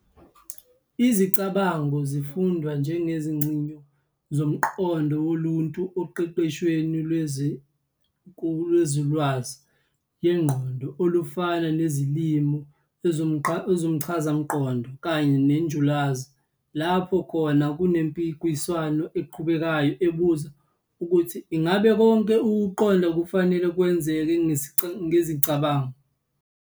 Izicabango zifundwa njengezigcoyi zomqondo woluntu oqeqeshweni lwenzululwazi yengqondo olufana nezezilimi, ezomchazangqondo, kanye nenjulalwazi, lapho khona kunempikiswano eqhubekayo ebuza ukuthi ingabe konke ukuqonda kufanele kwenzeke ngezicabango.